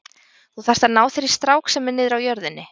Þú þarft að ná þér í strák sem er niðri á jörðinni.